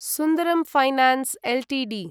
सुन्दरं finance Ltd